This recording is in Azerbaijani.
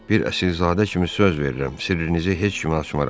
Bir əsrizadə kimi söz verirəm, sirrinizi heç kimə açmaram.